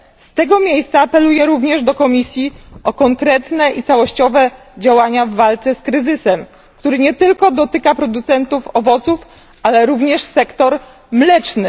Z tego miejsca apeluję również do Komisji o konkretne i całościowe działania w walce z kryzysem, który nie tylko dotyka producentów owoców, ale również sektor mleczny.